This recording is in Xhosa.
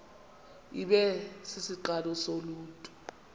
ibe sisiqalo soluntu